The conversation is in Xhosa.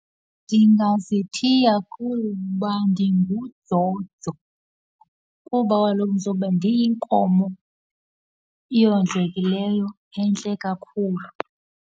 Ndingazithiya kuba ndinguDzodzo kuba kaloku ndizobe ndiyinkomo eyondlekileyo, entle kakhulu.